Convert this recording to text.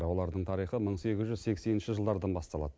олардың тарихы мың сегіз жүз сексенінші жылдардан басталады